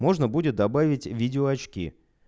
можно будет добавить видео очки